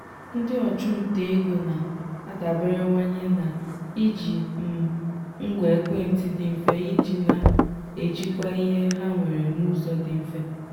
ndị ọchụnta ego na-adaberewanye na-iji um ngwa ekwentị dị mfe iji na-ejikwa ihe ha nwere n'ụzọ dị mfe.